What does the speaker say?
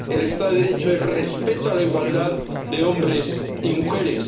El Estado de Derecho es respeto a la igualdad de hombres y mujeres